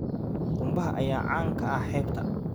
Qumbaha ayaa caan ka ah xeebta.